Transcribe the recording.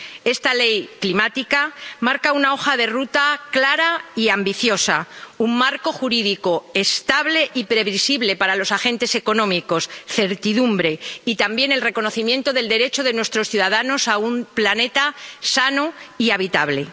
Esta Ley climática marca una hoja de ruta clara y ambiciosa, un marco jurídico estable y previsible para los agentes económicos, certidumbre, y también el reconocimiento del derecho de nuestros ciudadanos a un planeta sano y habitable.